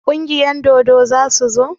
Kungiyar dodo za su zo?